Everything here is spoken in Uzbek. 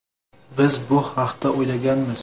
Biz bu haqda o‘ylaganmiz.